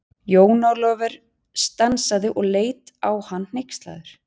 Jón Ólafur stansaði og leit á hann hneykslaður.